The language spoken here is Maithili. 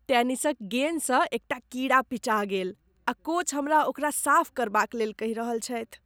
टेनिसक गेन सँ एकटा कीड़ा पिचा गेल आ कोच हमरा ओकरा साफ करबाक लेल कहि रहल छथि।